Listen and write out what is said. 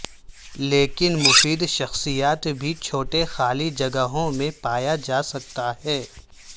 لیکن مفید شخصیات بھی چھوٹے خالی جگہوں میں پایا جا سکتا ہے